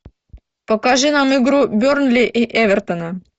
покажи нам игру бернли и эвертона